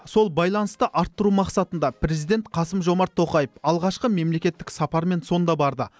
сол байланысты арттыру мақсатында президент қасым жомарт тоқаев алғашқы мемлекеттік сапармен сонда барды